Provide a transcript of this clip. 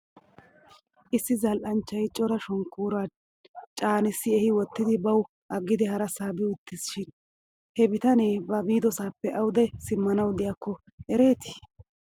Issi zal'anchchay cora shonkooruwaa caanissi ehi wottidi baw aggidi harasaa bi utti shin he bitanee ba biidosaappe awde simmanaw de'iyaakke ereetii